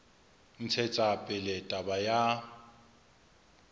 ho ntshetsa pele taba ya